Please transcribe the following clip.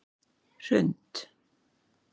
Hrund